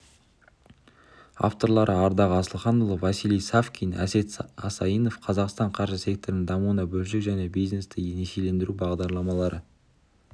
авторлары ардақ асылханұлы василий савкин әсет асайынов қазақстанның қаржы секторының дамуына бөлшек және бизнесті несиелендіру бағдарламалары